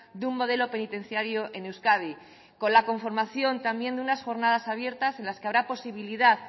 de un modelo penitenciario en euskadi con la conformación también de unas jornadas abiertas en las que habrá posibilidad